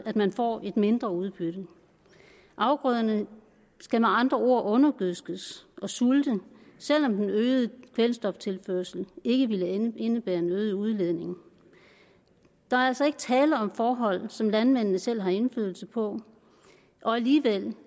at man får et mindre udbytte afgrøderne skal med andre ord undergødskes og sulte selv om den øgede kvælstoftilførsel ikke ville indebære nødig udledning der er altså ikke tale om forhold som landmændene selv har indflydelse på og alligevel